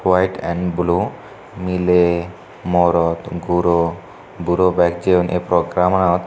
white and blue miley morot guro buro beg jeyon ei programanot.